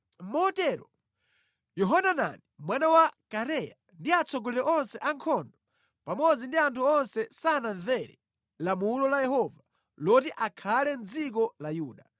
Motero Yohanani mwana wa Kareya ndi atsogoleri onse a ankhondo pamodzi ndi anthu onse sanamvere lamulo la Yehova loti akhale mʼdziko la Yuda.